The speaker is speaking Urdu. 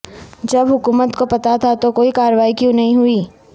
جب حکومت کو پتہ تھا تو کوئی کاروائی کیوں نہیں ہوئی